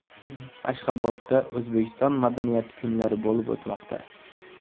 Ashxobodda O‘zbekiston madaniyati kunlari bo‘lib o‘tmoqda .